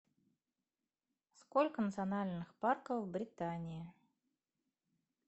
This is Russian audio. сколько национальных парков в британии